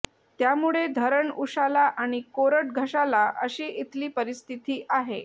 त्यामुळे धरण उशाला आणि कोरड घशाला अशी इथली परिस्थिती आहे